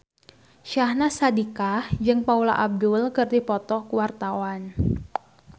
Syahnaz Sadiqah jeung Paula Abdul keur dipoto ku wartawan